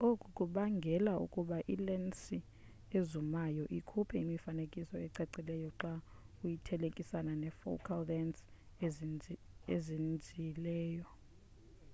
oku kubangele ukuba ilensi ezumayo ikhuphe imifanekiso ecacileyo xa uyithelekanisa ne focal lensi ezinzileyo